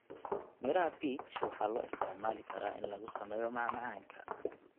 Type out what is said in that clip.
Midhaha peach waxay loo isticmaali karaa in lagu sameeyo macmacaanka.